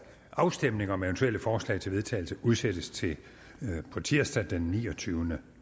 afstemning om eventuelle forslag til vedtagelse udsættes til på tirsdag den niogtyvende